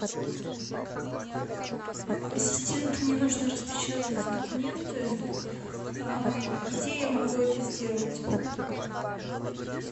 ассистент мне нужно распечатать документы где я могу это сделать